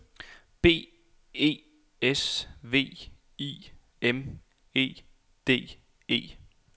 B E S V I M E D E